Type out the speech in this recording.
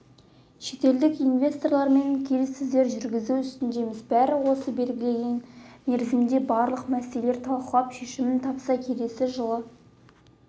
шетелдік инвесторлармен келіссөздер жүргізу үстіндеміз бәрі осы белгіленген мерзімде барлық мәселелер талқылап шешімін тапса келесі жылы